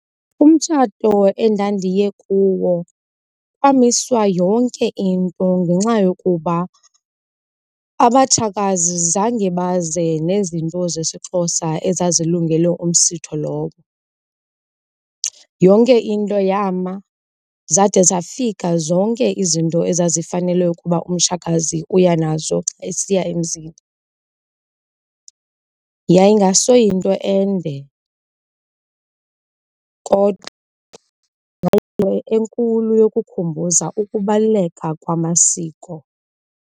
Umtshato endandiye kuwo kwamiswa yonke into ngenxa yokuba abatshakazi zange baze nezinto zesiXhosa ezazilungele umsitho lowo. Yonke into yama zade zafika zonke izinto ezazifanele ukuba umtshakazi uya nazo esiya emzini. Yayingasoyinto ende kodwa yayinto enkulu yokukhumbuza ukubaluleka kwamasiko.